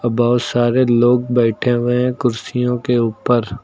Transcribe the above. बहोत सारे लोग बैठे हुए हैं कुर्सियों के ऊपर।